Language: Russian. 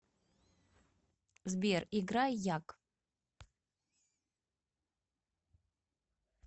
сбер играй яг